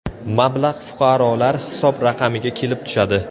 Mablag‘ fuqarolar hisob raqamiga kelib tushadi.